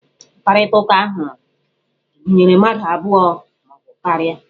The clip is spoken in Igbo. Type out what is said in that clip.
Mkparịtaụka ahụ gụnyere mmadụ abụọ ma ọ bụ karia.